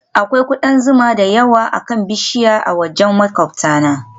Akwai kudan zuma da yawa akan bishiyar a wajen maƙwabtana